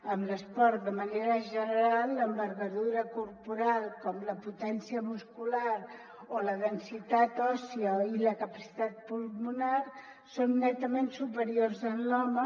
en l’esport de manera general l’envergadura corporal com la potència muscular o la densitat òssia i la capacitat pulmonar són netament superiors en l’home